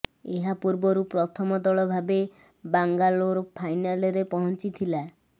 ଏହା ପୂର୍ବରୁ ପ୍ରଥମ ଦଳ ଭାବେ ବାଙ୍ଗାଲୋର ଫାଇନାଲ୍ରେ ପହଞ୍ଚିଥିଲା